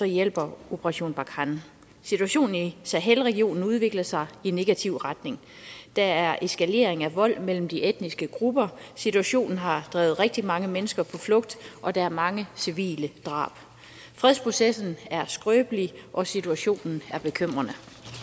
hjælper operation barkhane situationen i sahel regionen udvikler sig i negativ retning der er eskalering af vold mellem de etniske grupper situationen har drevet rigtig mange mennesker på flugt og der er mange civile drab fredsprocessen er skrøbelig og situationen er bekymrende